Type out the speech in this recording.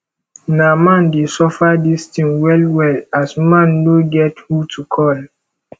na man dey suffer dis tin wel wel as man no get who to cal